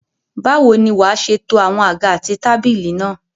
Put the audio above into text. Báwo ni wàá ṣe to àwọn àga àti tábìlì náà?